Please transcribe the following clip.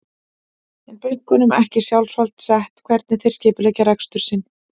En er bönkunum ekki sjálfsvald sett hvernig þeir skipuleggja rekstur sinn?